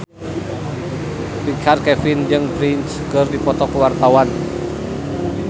Richard Kevin jeung Prince keur dipoto ku wartawan